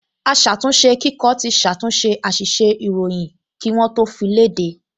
Aṣàtúnṣekíkọ ti ṣàtúnṣe àṣìṣe ìròyìn kí wọ́n tó fi léde